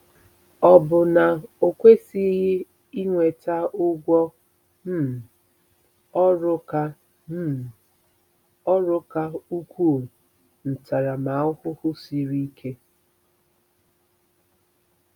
Ọ̀ bụ na o kwesịghị inweta 'ụgwọ um ọrụ' ka um ọrụ' ka ukwuu - ntaramahụhụ siri ike?